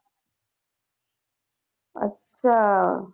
ਅੱਛਾ।